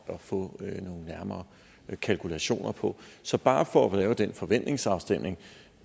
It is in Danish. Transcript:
at få nærmere kalkulationer på så bare for at lave den forventningsafstemning